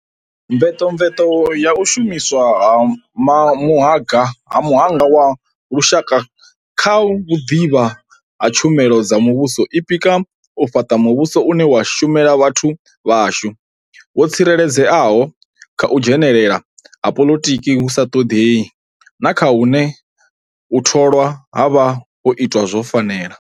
Mvetomveto ya u shumiswa ha muhanga wa lushaka kha vhuḓivhi ha tshumelo dza muvhuso i pika kha u fhaṱa muvhuso une wa shumela vhathu vha shu, wo tsireledzeaho kha u dzhenelela ha poḽotiki hu sa ṱoḓei na kha hune u tholwa ha vha ho itwa zwo fanela.